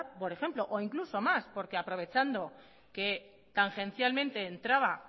por ejemplo o incluso más porque aprovechando que tangencialmente entraba